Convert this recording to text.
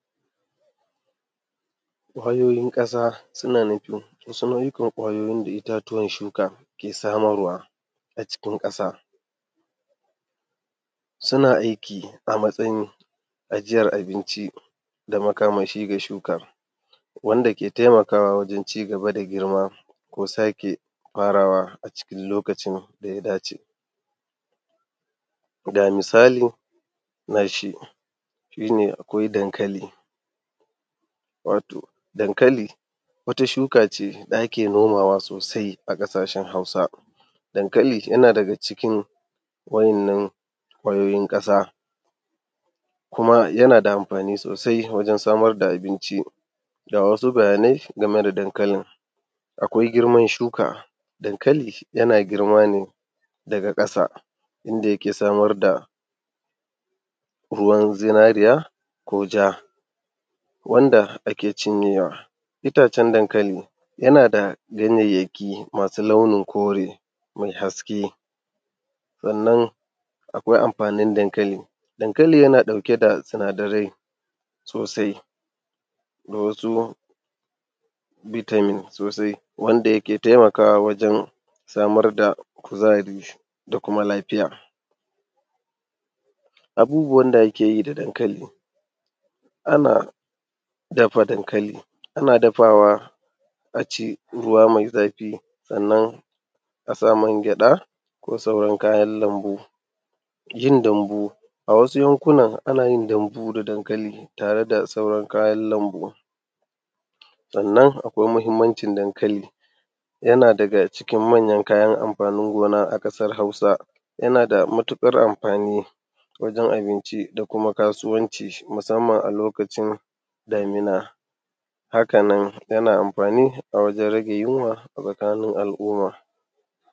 Kwayoyin ƙasa sunanan biyu, wasu nau’ikan ƙasa da ittatuwan shika ke samarwa a ciki ƙasa, suna aiki a matsayin ajiyanabinci da makamashi ga shuka wanda ke taimakawa wajen cigaba da girma ko sake faraway a cikin lokacin daya dace. Ga misali nashi shine akwai dankalai, dankali wata shukace da ake nomawa sosai a ƙasashen hausa. Dankali yana daga wa ‘yan’ nan kwayoyin ƙasa, kuma yanada amfani sosai wajen samarda abinci ga asu bayanai game da dankalin. Akwai girmn shuka dankali yana girma ne daga ƙasa inda yake samar da ruwan zinariya ko ja, wanda ake cinyewa ittacen dankali yanada ganyayyaki masu launin kore mai haske, sannan akwai amfanin dankali. Dankalai yana ɗauke da sinadarai sosai da wasu bitamin sosai wanda yake taimakawa wajen samarda kuzari da kuma lafiya. Abubuwan da akeyi da dankali. Ana dafa dankali ana dafawa acikin ruwa mai zafi sannan asa magyaɗa ko sauran kayan lambu. Yin dambu a wasu yankunan anayin dambu da dankali da wasu kayan lambu. Sannan akwai mahimmancin dankali yana daga cikin manyan kayan amfanin gona daga ƙasar hausa, yanada matuƙar amfani wajen abinci da kuma kasuwanci, masamman a lokacin damina hakanan yana amfani a wajen rage yinwa a cikinal’umma.